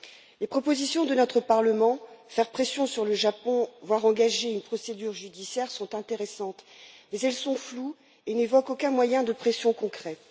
Les propositions de notre Parlement faire pression sur le Japon, voire engager une procédure judiciaire sont intéressantes, mais elles sont floues et n'évoquent aucun moyen de pression concret.